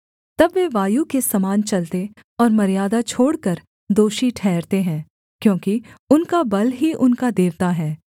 तब वे वायु के समान चलते और मर्यादा छोड़कर दोषी ठहरते हैं क्योंकि उनका बल ही उनका देवता है